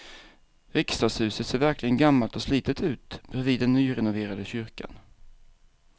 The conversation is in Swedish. Riksdagshuset ser verkligen gammalt och slitet ut bredvid den nyrenoverade kyrkan.